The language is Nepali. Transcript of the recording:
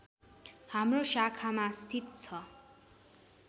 हाम्रो शाखामा स्थित छ